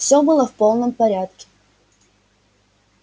всё было в полном порядке